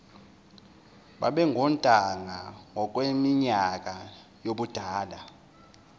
babengontanga ngokweminyaka yobudala